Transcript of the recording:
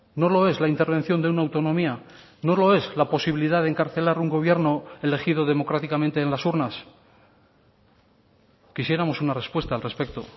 no lo es la intervención de una autonomía no lo es la posibilidad de encarcelar un gobierno elegido democráticamente en las urnas quisiéramos una respuesta al respecto